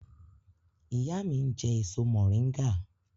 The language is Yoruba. Ìyá mi ń jẹ èso mòríngà